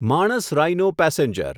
માણસ રાઇનો પેસેન્જર